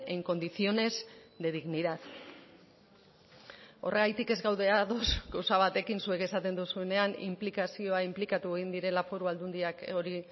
en condiciones de dignidad horregatik ez gaude ados gauza batekin zuek esaten duzuenean inplikazioa inplikatu egin direla foru aldundiak hori